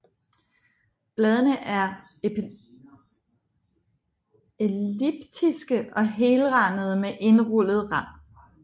Bladene er elliptiske og helrandede med indrullet rand